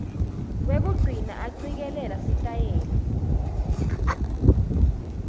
wekugcina acikelela sitayela